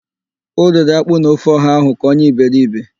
O riri ákpú na ofe ọha ahụ ka onye iberibe.